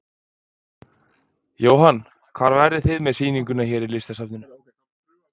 Jóhann: Hvar verðið þið með sýninguna hér í Listasafninu?